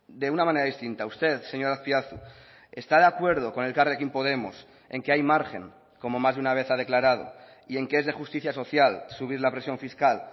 de una manera distinta usted señor azpiazu está de acuerdo con elkarrekin podemos en que hay margen como más de una vez ha declarado y en que es de justicia social subir la presión fiscal